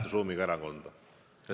Kolleeg Marko Mihkelson, täiendav küsimus.